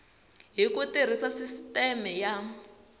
hi ku tirhisa sisiteme ya